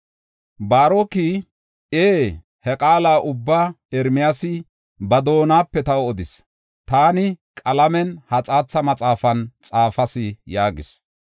Baaroki, “Ee, ha qaala ubbaa Ermiyaasi ba doonape taw odis; taani qalamen ha xaatha maxaafan xaafas” yaagis.